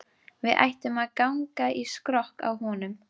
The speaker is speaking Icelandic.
Við ættum að ganga í skrokk á honum